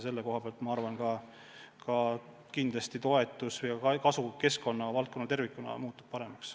Usun, et tänu sellele kindlasti ka toetus keskkonna valdkonnale tervikuna kasvab.